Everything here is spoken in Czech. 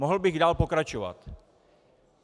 Mohl bych dál pokračovat.